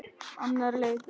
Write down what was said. Annar leikur